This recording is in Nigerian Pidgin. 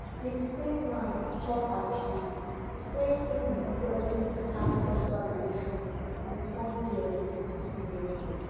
di same man chop accuse say e repeatedly have sexual relations wit one girl wey be 15 years old